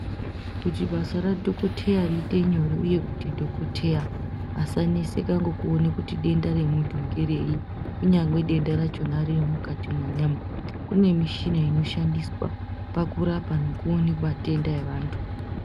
Kuti basa radhokoteya riite nyore uye kuti dhokoteya asaneseka ngekuona kuti denda remuntu ngereyi kunyangwe denda rachona ririmukati mwenyama kune mishina inoshandiswa pakurapa nekuona matenda evantu